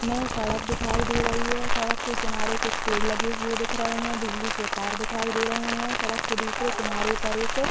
मे सड़क दिखाई दे रही है सड़क के किनारे कुछ पेड़ लगे हुए दिख रहे हैं बिजली के तार दिखाई दे रहे हैं सड़क के दूसरे किनारे पर एक--